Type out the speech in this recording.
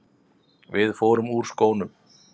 Við förum úr skónum.